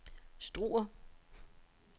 Struer